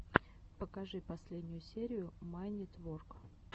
покажи последнюю серию майнитворк